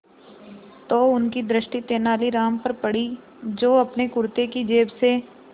तो उनकी दृष्टि तेनालीराम पर पड़ी जो अपने कुर्ते की जेब से